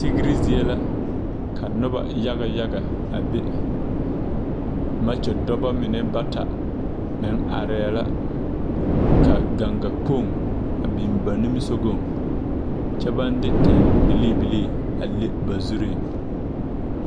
Tigre zie la ka nobɔ yaga yaga a be makyo dɔbɔ mine bata meŋ areɛɛ la ka ganga Kpoŋ a biŋ ba nimisugɔŋ kyɛ baŋ de tan bilii bilii a le ba zuree.